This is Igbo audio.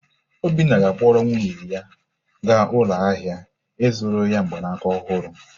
Obinna ga-akpọrọ nwunye ya gaa ụlọ ahịa ịzụrụ ya mgbanaka ọhụrụ.